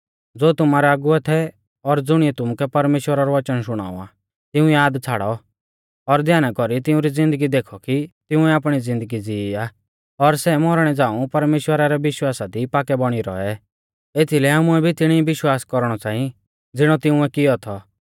ज़ो तुमारै अगुवै थै और ज़ुणिऐ तुमुकै परमेश्‍वरा रौ वचन शुणाऔ आ तिऊं याद छ़ाड़ौ और ध्याना कौरी तिउंरी ज़िन्दगी देखौ कि तिंउऐ आपणी ज़िन्दगी जीई आ और सै मौरणै झ़ाऊं परमेश्‍वरा रै विश्वासा दी पाक्कै बौणी रौऐ एथीलै आमुऐ भी तिणी विश्वास कौरणौ च़ांई ज़िणौ तिंउऐ कियौ थौ